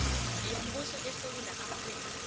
yombuso esewula afrika